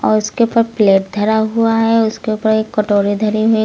और उसके पास प्लेट धरा हुआ है उसके ऊपर एक कटोरी धरी हुई --